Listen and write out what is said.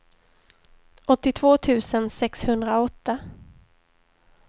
åttiotvå tusen sexhundraåtta